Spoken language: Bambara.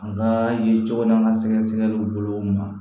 An ka ye cogo min na sɛgɛsɛgɛliw bolo ma